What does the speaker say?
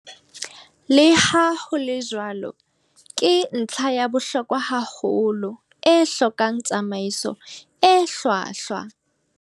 Le ha ho le jwalo, ke ntlha ya bohlokwa haholo, e hlokang tsamaiso e hlwahlwa.